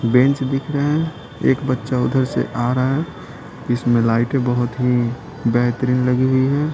Bench दिख रहे हैं एक बच्चा उधर से आ रहा है इसमें लाइट बहुत ही बेहतरीन लगी हुई है।